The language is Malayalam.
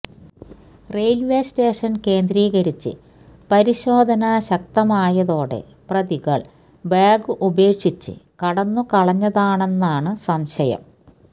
റെയില്വേ സ്റ്റേഷന് കേന്ദ്രീകരിച്ച് പരിശോധന ശക്തമായതോടെ പ്രതികള് ബാഗ് ഉപേക്ഷിച്ച് കടന്നുകളഞ്ഞതാണെന്നാണ് സംശയം